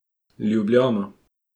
Ljubljana.